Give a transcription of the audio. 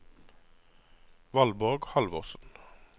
Valborg Halvorsen